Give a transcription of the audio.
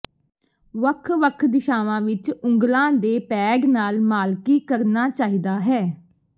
ਵੱਖ ਵੱਖ ਦਿਸ਼ਾਵਾਂ ਵਿਚ ਉਂਗਲਾਂ ਦੇ ਪੈਡ ਨਾਲ ਮਾਲਕੀ ਕਰਨਾ ਚਾਹੀਦਾ ਹੈ